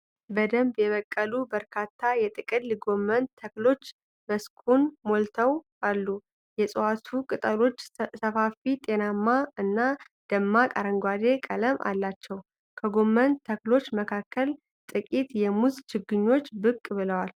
በደንብ የበቀሉ በርካታ የጥቅል ጎመን ተክሎች መስኩን ሞልተው አሉ። የእጽዋቱ ቅጠሎች ሰፋፊ፣ ጤናማ እና ደማቅ አረንጓዴ ቀለም አላቸው። ከጎመን ተክሎች መካከል ጥቂት የሙዝ ችግኞች ብቅ ብለዋል።